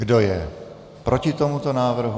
Kdo je proti tomuto návrhu?